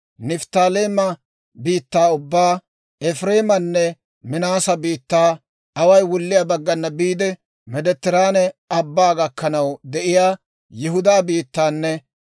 Nifttaaleema biittaa ubbaa, Efireemanne Minaase biittaa, away wulliyaa baggana biide Meediteraane Abbaa gakkanaw de'iyaa Yihudaa biittaanne